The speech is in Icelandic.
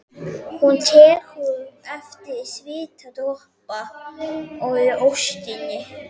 Hún tekur eftir svitadropa í óstinni.